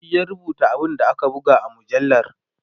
shi ya rubuta abun da aka buga a mujallar